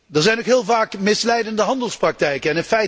Er zijn ook heel vaak misleidende handelspraktijken.